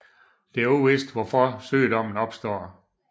Det er uvist hvorfor sygdommen opstår